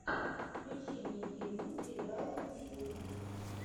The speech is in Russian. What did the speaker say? включи мне фильмы где играл вин дизель